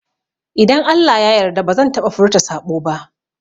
Idan Allah ya yarda bazan taɓa furta saɓo ba